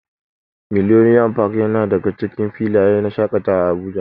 Millennium park yana daga cikin filayen shaƙatawa a Abuja.